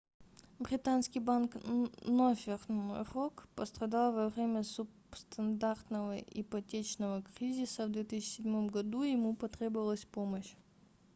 британский банк northern rock пострадал во время субстандартного ипотечного кризиса в 2007 г и ему потребовалась помощь